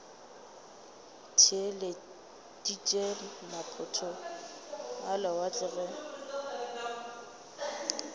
theeleditše maphoto a lewatle ge